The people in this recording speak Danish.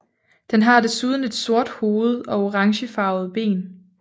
Den har desuden et stort hoved og orangefarvede ben